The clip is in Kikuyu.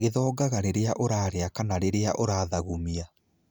Gĩthonganga rĩrĩa ũraria kana rĩrĩa ũrathagumia.